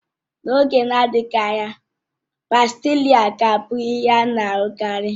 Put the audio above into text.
N'oge na-adịghị anya, Pástila ga-abụ ihe a na-ahụkarị